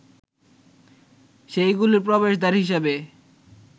সেইগুলির প্রবেশদ্বার হিসেবে